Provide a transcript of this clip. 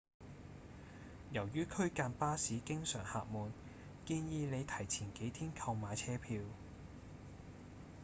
由於區間巴士經常客滿建議您提前幾天購買車票